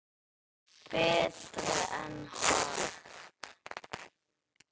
Betri en Hart?